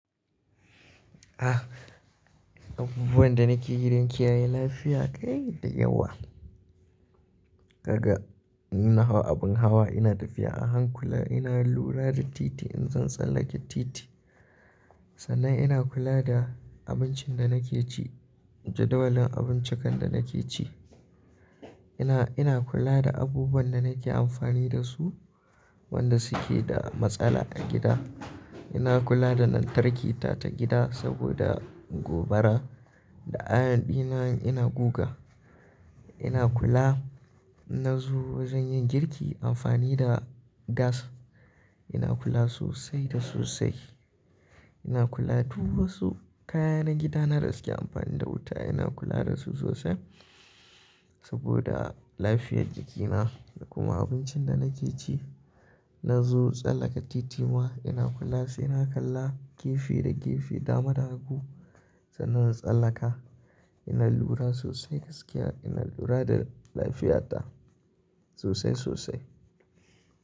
Ah, abubuwan da nake gidan kiyaye lafiya kai da yawa. Gaga ina hawa abin hawa ina tafiya a hankula ina lura da titi in zan tsallake titi. Sannan ina kula da abincin da nake ci, jadawalin abinci kan da nake ci. Ina, ina kula da abubuwan da nake amfani da su wanda suke da matsala a gida. Ina kula da lantarkita ta gida saboda gobara da ɗa'ya ɗina ina goga. Ina kula, na zo wajen yin girki amfani da gas. Ina kula sosai da sosai. Ina kula duk wasu kaya na gida na rasaki amfani da wuta ina kula da su sosai saboda lafiyar jikina da kuma abincin da nake ci. Na zo tsallaka titima ina kula sai na kalla gefe da gefe, dama, dagu sannan na tsallaka. Ina lura sosai gaskiya ina lura da lafiyata sosai sosai.